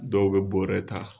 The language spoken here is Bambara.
Dɔw bɛ bɔrɛ ta.